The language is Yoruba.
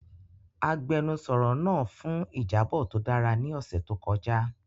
Agbẹnusọro naa fun ijabọ to dara ni ọsẹ to kọja.